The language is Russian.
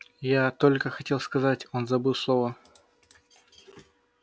я только хотел сказать он забыл слово